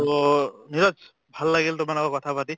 to Niraj ভাল লাগিল তোমাৰ লগত কথা পাতি